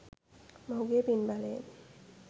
මොහුගේ පින් බලයෙන්